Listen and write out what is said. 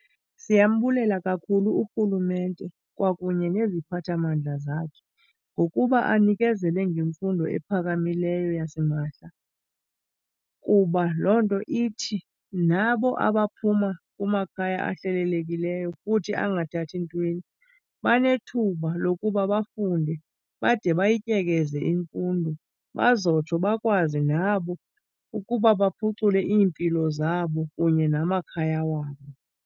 Siyambulela kakhulu urhulumente kwakunye neziphathamandla zakhe ngokuba anikezele ngemfundo ephakamileyo yasimahla. Kuba loo nto ithi nabo abaphuma kumakhaya ahlelelekileyo futhi angathathi ntweni banethuba lokuba bafunde bade ndayityekeza imfundo, bazotsho bakwazi nabo ukuba baphucule iimpilo zabo kunye namakhaya wabo.